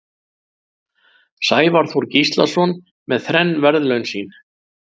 Sævar Þór Gíslason með þrenn verðlaun sín.